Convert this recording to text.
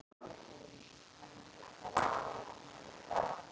Og hann hlýddi því.